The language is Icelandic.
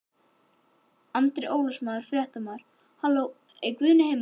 Andri Ólafsson, fréttamaður: Halló er hann Guðni heima?